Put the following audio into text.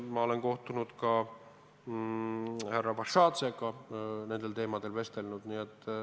Ma olen kohtunud ka härra Vašadzega ja nendel teemadel vestelnud.